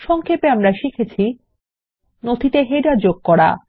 সংক্ষেপ আমরা শিখেছি নথিতে কিভাবে শিরোলেখ যোগ করা যায়